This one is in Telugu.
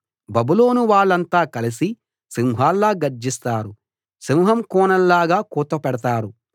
బబులోను వాళ్ళంతా కలసి సింహాల్లా గర్జిస్తారు సింహం కూనల్లాగా కూత పెడతారు